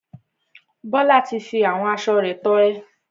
Bíọ́lá ti fi àwọn aṣo rẹ̀ tọrẹ.